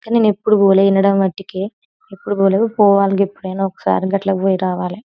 కానీ నేనెప్పుడూ పోలె వినడం మట్టికి ఎప్పుడు పోలేదు పోవాలి గెప్పుడైనా ఒకసారి గట్లా పోయి రావాలి.